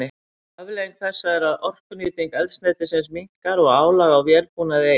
Afleiðing þessa er að orkunýting eldsneytisins minnkar og álag á vélbúnað eykst.